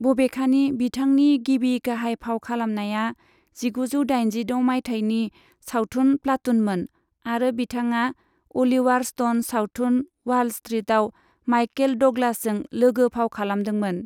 बबेखानि, बिथांनि गिबि गाहाय फाव खालामनाया जिगुजौ दाइनजिद' मायथाइनि सावथुन प्लाटूनमोन, आरो बिथाङा अलिवार स्टन सावथुन वाल स्ट्रीटआव माइकेल डगलासजों लोगो फाव खालामदोंमोन।